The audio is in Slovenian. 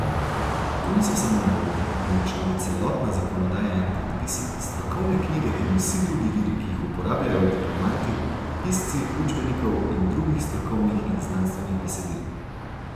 To niso samo naloge, temveč tudi celotna zakonodaja in predpisi, strokovne knjige in vsi drugi viri, ki jih uporabljajo diplomanti, pisci učbenikov in drugih strokovnih in znanstvenih besedil.